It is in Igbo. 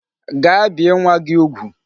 Gaa bie nwa gi ugwu